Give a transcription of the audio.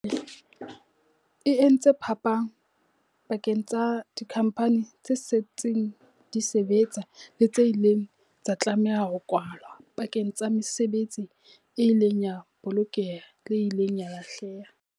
E entse phapang pakeng tsa dikhampani tse setseng di sebetsa le tse ileng tsa tlameha ho kwalwa, pakeng tsa mesebetsi e ileng ya bolokeha le e ileng ya lahleha.